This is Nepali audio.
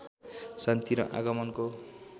शान्ति र आगमनको